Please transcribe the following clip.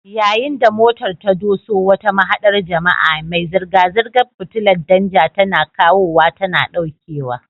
Yayin da motar ta doso wata mahaɗar jama'a, mai zirga-zirgar fitilar danja tana kawowa tana ɗaukewa.